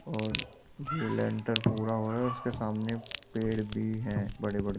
और ये लेंटर पूरा हो रहा है उसके सामने पेड़ भी हैं बड़े-बडे --